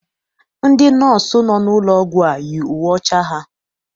Ndị nọọsụ nọ n'ụlọ ọgwụ a yi uwe ọcha ha.